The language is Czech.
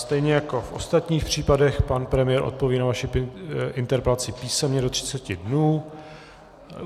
Stejně jako v ostatních případech, pan premiér odpoví na vaši interpelaci písemně do 30 dnů.